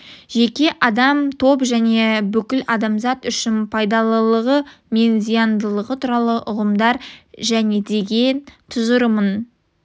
жеке адам топ және бүкіл адамзат үшін пайдалылығы мен зияндылығы туралы ұғымдар және деген тұжырымын